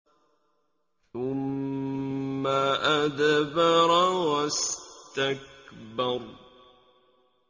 ثُمَّ أَدْبَرَ وَاسْتَكْبَرَ